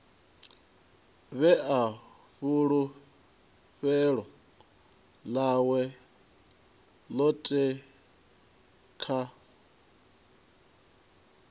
vhea fulufhelo ḽawe ḽoṱhe kha